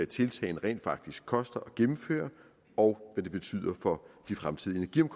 tiltagene rent faktisk koster at gennemføre og hvad det betyder for de fremtidige